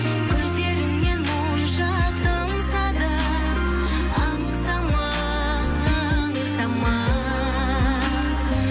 көздеріңнен моншақ тамса да аңсама аңсама